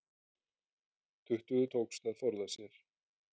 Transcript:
Tuttugu tókst að forða sér